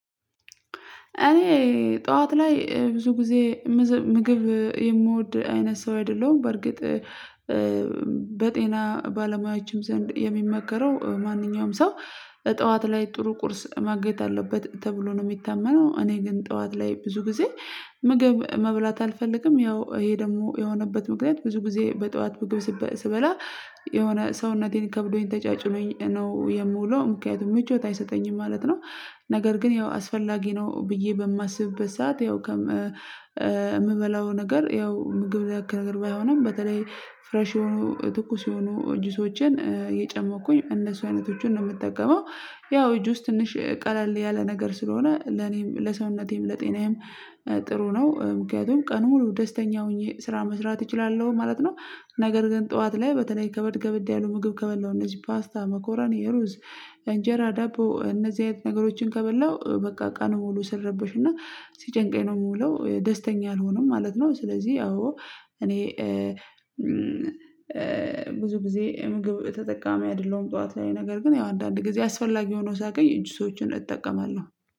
እኔ ጠዋት ላይ ብዙ ጊዜ ምግብ የምወድ አይነት ሰው አይደለሁም። በርግጥ በጤና ባለሙያዎችም ዘንድ የሚመከረው ማንኛውም ሰው ጠዋት ላይ ጥሩ ቁርስ ማግኘት አለበት ተብሎ ነው የሚታመነው። እኔ ግን ጠዋት ላይ ብዙ ጊዜ ምግብ መብላት አልፈልግም ያው ይሄ ደግሞ የሆነበት ምክንያት ብዙ ጊዜ በጠዋት ምግብ ስበላ የሆነ ሰውነቴን ከብዶኝ ተጫጭኖኝ ነው የምውለው ምክንያቱም ምቾት አይሰጠኝም ማለት ነው ነገር ግን ያው አስፈላጊ ነው ብዬ በማስብበት ሰዓት ያው ከምበላው ነገር ያው ምግብ ንክ ነገር ባይሆንም በተለይ ፍሬሽ የሆኑ ትኩስ የሆኑ ጁሶችን እየጨመቅኩኝ እነሱ አይነቶቹን ነው የምጠቀመው ያው ጁስ ትንሽ ቀለል ያለ ነገር ስለሆነ ለኔም ለሰውነቴም ለጤናዬም ጥሩ ነው ምክንያቱም ቀኑ ሙሉ ደስተኛ ሆኜ ስራ መስራት እችላለሁ ማለት ነው ነገር ግን ጠዋት ላይ በተለይ ከበድ ከበድ ያሉ ምግብ ከበድ ነው እነዚህ ፓስታ መኮራኒ ሩዝ እንጀራ ዳቦ እነዚህ አይነት ነገሮችን ከበላው ቀኑ ሙሉ ስረበሽ እና ሲጨንቀኝ ነው የምውለው ደስተኛ አልሆንም ማለት ነው ስለዚህ አዎ እኔ ብዙ ጊዜ ምግብ ተጠቃሚ አይደለሁም ጠዋት ነገር ግን ያው አንዳንድ ጊዜ አስፈላጊ ሆኖ ሳገኝ ጅሶችን እጠቀማለሁ